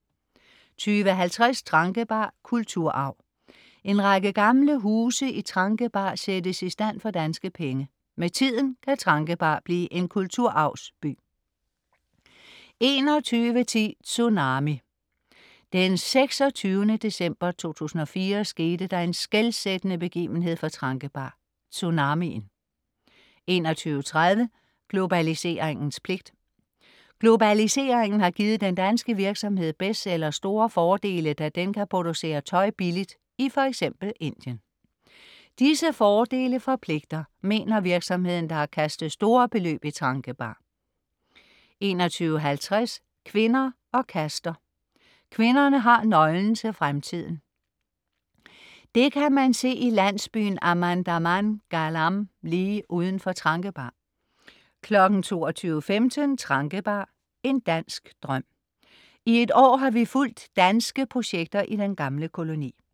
20.50 Tranquebar. Kulturarv. En række gamle huse i Tranquebar sættes i stand for danske penge. Med tiden kan Tranquebar blive en kulturarvsby 21.10 Tsunami. Den 26. december 2004 skete der en skelsættende begivenhed for Tranquebar: Tsunamien 21.30 Globaliseringens pligt. Globaliseringen har givet den danske virksomhed Bestseller store fordele, da den kan producere tøj billigt i f.eks. Indien. Disse fordele forpligter, mener virksomheden, der har kastet store beløb i Tranquebar 21.50 Kvinder og kaster. Kvinderne har nøglen til fremtiden. Det kan man se i landsbyen Amandaman-galam lige uden for Tranquebar 22.15 Tranquebar. En dansk drøm. I et år har vi fulgt danske projekter i den gamle koloni